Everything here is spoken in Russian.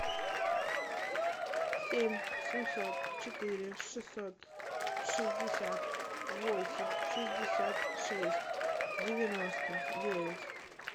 семь семьсот четыре шестьсот шестьдесят восемь шестьдесят шесть девяносто девять